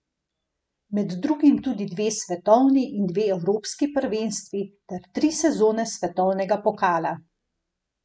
Med drugim tudi dve svetovni in dve evropski prvenstvi, ter tri sezone svetovnega pokala.